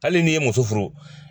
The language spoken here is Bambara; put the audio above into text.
Hali n'i ye muso furu.